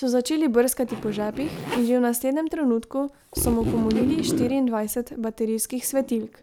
so začeli brskati po žepih in že v naslednjem trenutku so mu pomolili štiriindvajset baterijskih svetilk.